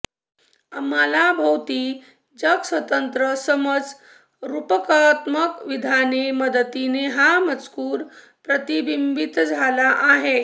आम्हाला भोवती जग स्वतंत्र समज रुपकात्मक विधाने मदतीने हा मजकूर प्रतिबिंबित झाली आहे